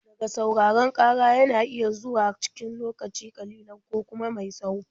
Ɗaga sauraron ƙara yana iya zama zuwa cikin lokaci ƙalilan ko kuma mai tsawo.